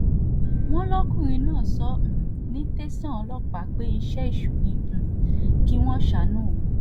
wọ́n lọkùnrin náà sọ um ní tẹ̀sán ọlọ́pàá pé iṣẹ́ èṣù ni um kí wọ́n ṣàánú òun